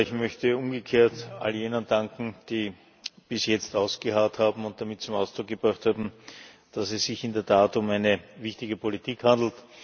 Ich möchte umgekehrt all jenen danken, die bis jetzt ausgeharrt und damit zum Ausdruck gebracht haben, dass es sich in der Tat um eine wichtige Politik handelt.